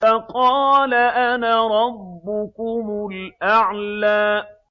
فَقَالَ أَنَا رَبُّكُمُ الْأَعْلَىٰ